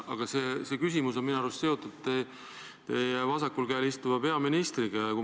Aga see küsimus on minu arust seotud teie vasakul käel istuva peaministriga.